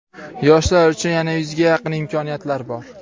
Yoshlar uchun yana yuzga yaqin imkoniyatlar bor.